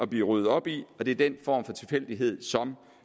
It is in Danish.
bliver ryddet op i og det er den form for tilfældighed som